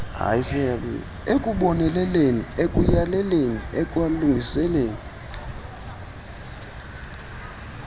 ekuboneleleni ekuyaleleni ekulungiseni